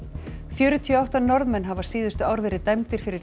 fjörutíu og átta Norðmenn hafa síðustu ár verið dæmdir fyrir